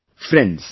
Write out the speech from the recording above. Friends,